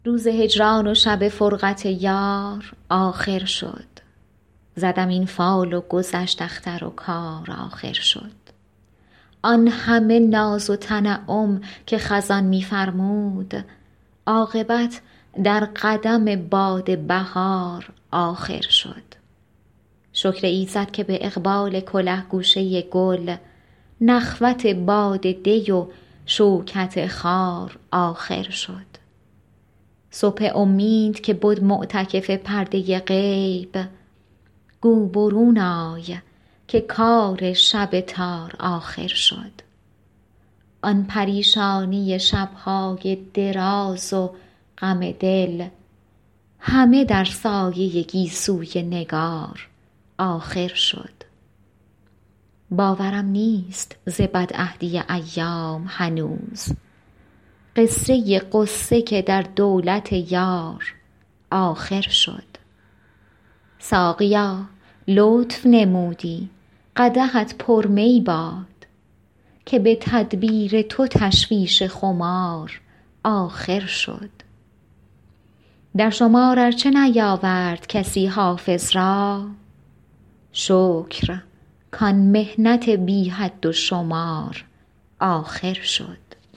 روز هجران و شب فرقت یار آخر شد زدم این فال و گذشت اختر و کار آخر شد آن همه ناز و تنعم که خزان می فرمود عاقبت در قدم باد بهار آخر شد شکر ایزد که به اقبال کله گوشه گل نخوت باد دی و شوکت خار آخر شد صبح امید که بد معتکف پرده غیب گو برون آی که کار شب تار آخر شد آن پریشانی شب های دراز و غم دل همه در سایه گیسوی نگار آخر شد باورم نیست ز بدعهدی ایام هنوز قصه غصه که در دولت یار آخر شد ساقیا لطف نمودی قدحت پر می باد که به تدبیر تو تشویش خمار آخر شد در شمار ار چه نیاورد کسی حافظ را شکر کان محنت بی حد و شمار آخر شد